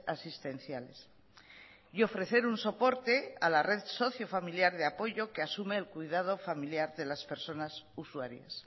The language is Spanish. asistenciales y ofrecer un soporte a la red socio familiar de apoyo que asume el cuidado familiar de las personas usuarias